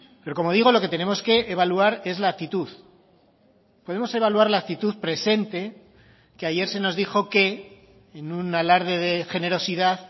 pero como digo lo que tenemos que evaluar es la actitud podemos evaluar la actitud presente que ayer se nos dijo que en un alarde de generosidad